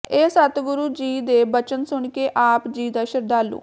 ਇਹ ਸਤਿਗੁਰ ਜੀ ਦੇ ਬਚਨ ਸੁਣ ਕੇ ਆਪ ਜੀ ਦਾ ਸ਼ਰਧਾਲੂ